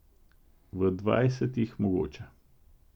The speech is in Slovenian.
V dvajsetih mogoče.